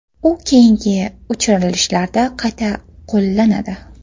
U keyingi uchirilishlarda qayta qo‘llanadi.